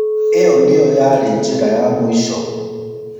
ĩo nĩyo yarĩ njĩra ya mũico.